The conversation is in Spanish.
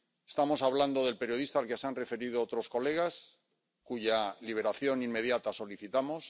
Estamos hablando del periodista al que se han referido otros colegas, cuya liberación inmediata solicitamos.